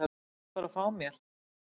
Ég vil bara fá mér.